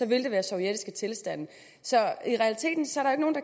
vil det være sovjetiske tilstande så